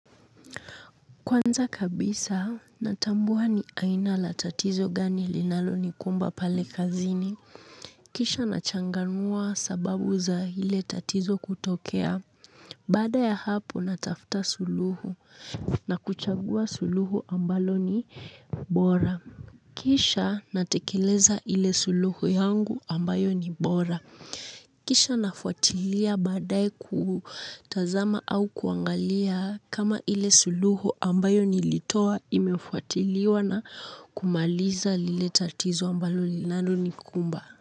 Kwanza kabisa, natambua ni aina ya tatizo gani linalonikumba pale kazini. Kisha nachanganua sababu za ile tatizo kutokea. Baada ya hapo natafuta suluhu na kuchagua suluhu ambalo ni bora. Kisha natekeleza ile suluhu yangu ambayo ni bora. Kisha nafuatilia baadaye kutazama au kuangalia kama ile suluhu ambayo nilitoa imefuatiliwa na kumaliza lile tatizo ambalo linalonikumba.